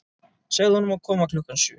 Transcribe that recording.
Segðu honum að koma klukkan sjö.